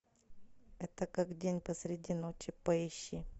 это как день посреди ночи поищи